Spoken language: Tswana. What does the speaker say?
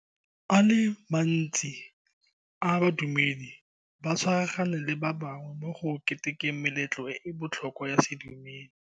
A le mantsi a badumedi ba tshwaragane le ba bangwe mo go ketekeng meletlo e e botlhokwa ya sedumedi.